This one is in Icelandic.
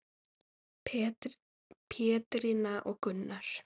Pétrína og Gunnar.